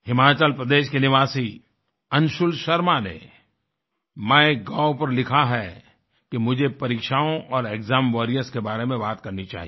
हिमाचल प्रदेश के निवासी अंशुल शर्मा ने माइगोव पर लिखा है कि मुझे परीक्षाओं और एक्साम वॉरियर्स के बारे में बात करनी चाहिए